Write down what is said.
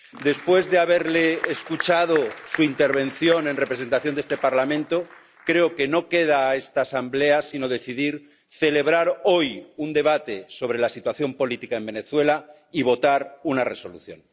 Después de haber escuchado su intervención en representación de este Parlamento, creo que no le queda a esta Asamblea sino decidir celebrar hoy un debate sobre la situación política en Venezuela y votar una resolución.